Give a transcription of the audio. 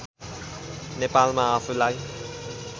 नेपालमा आफूलाई